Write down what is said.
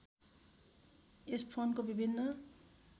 यस फोनको विभिन्न